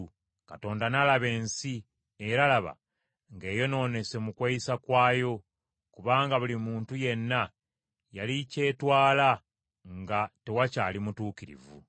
Katonda n’alaba ensi, era laba, ng’eyonoonese mu kweyisa kwayo kubanga buli muntu yenna yali kyetwala nga tewakyali mutuukirivu.